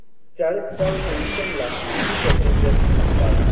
Chalisgaon junction ला किती passengers थांबतात